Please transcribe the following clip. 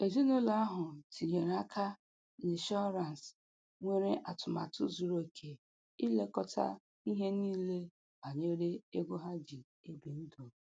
Ezinụlọ ahụ tinyere aka n'ịnshọrance nwere atụmatụ zuru oke ilekọta ihe niile banyere ego ha ji ebi ndụ